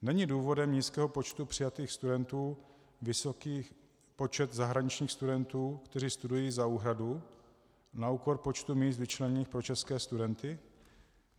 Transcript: Není důvodem nízkého počtu přijatých studentů vysoký počet zahraničních studentů, kteří studují za úhradu, na úkor počtu míst vyčleněných pro české studenty?